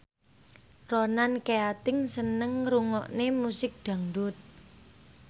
Ronan Keating seneng ngrungokne musik dangdut